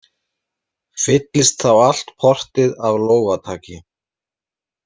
Fyllist þá allt portið af lófataki.